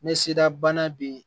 Ne se dabana be yen